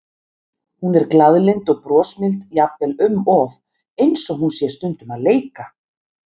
Hún er glaðlynd og brosmild, jafnvel um of, eins og hún sé stundum að leika.